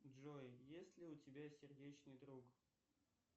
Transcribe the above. джой есть ли у тебя сердечный друг